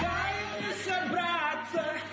дай мне собраться